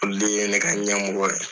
Olu ye ne ka ɲɛmɔgɔw ye.